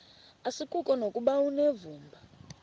asikuko nokuba unevumba